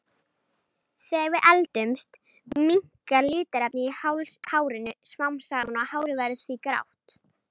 Þegar við eldumst minnkar litarefnið í hárinu smám saman og hárið verður því grátt.